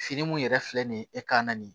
Fini mun yɛrɛ filɛ nin ye e ka na nin